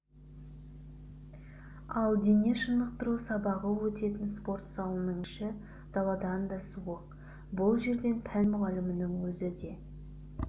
ал дене шынықтыру сабағы өтетін спортзалының іші даладан да суық бұл жерден пән мұғалімінің өзі де